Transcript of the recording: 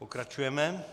Pokračujeme.